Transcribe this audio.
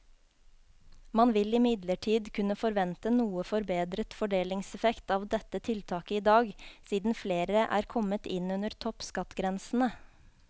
Man vil imidlertid kunne forvente noe forbedret fordelingseffekt av dette tiltaket i dag, siden flere er kommet inn under toppskattgrensene.